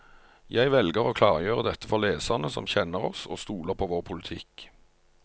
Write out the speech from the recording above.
Jeg velger å klargjøre dette for leserne som kjenner oss og stoler på vår politikk.